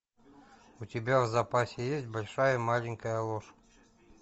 у тебя в запасе есть большая маленькая ложь